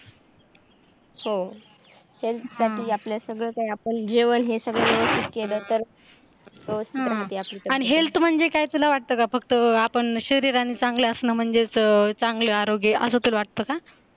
हो ह्याच्यासाठी आपले सगळे काही आपण जेवण हे सगळं व्यवस्थित केलं तर सुधारते आपली तब्येत आणी health महाणजे काय तुला वाटतं का फक्त आपण शरीराने चांगलं म्हणजेच चांगले आरोग्य अस तुला वाटत का?